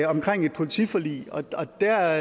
omkring et politiforlig og der